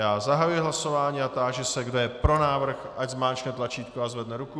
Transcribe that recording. Já zahajuji hlasování a táži se, kdo je pro návrh, ať zmáčkne tlačítko a zvedne ruku.